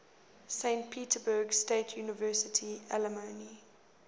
saint petersburg state university alumni